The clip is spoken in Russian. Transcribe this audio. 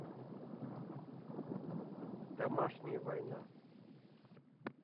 домашняя война